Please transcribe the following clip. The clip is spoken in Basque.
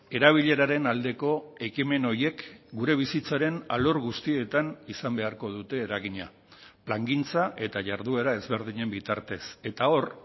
erabileraren aldeko ekimen horiek gure bizitzaren alor guztietan izan beharko dute eragina plangintza eta jarduera ezberdinen bitartez eta hor